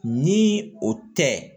Ni o tɛ